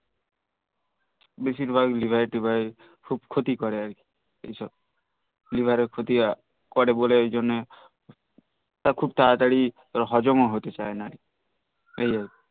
বেশিরভাগ লিভার টিভার খুব ক্ষতি করে আর কি এসব liver এর ক্ষতি করে এই জন্যে আর খুব ত্তাতারা তারি হজম ও হতে চাই না